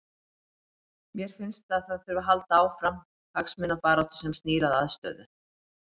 Mér finnst að það þurfi að halda áfram hagsmunabaráttu sem snýr að aðstöðu.